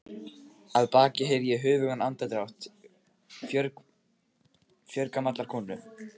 Að baki heyri ég höfugan andardrátt fjörgamallar konu.